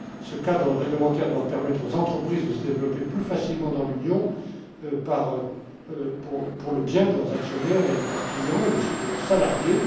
Ce cadre réglementaire doit permettre aux entreprises de se développer plus facilement dans l'Union, pour le bien de leurs actionnaires et de leurs clients et aussi de leurs salariés.